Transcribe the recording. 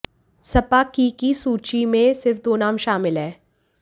सपा की की सूची में सिर्फ दो नाम शामिल हैं